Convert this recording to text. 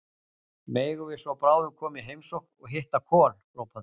Megum við svo bráðum koma í heimsókn og hitta Kol, hrópa þau.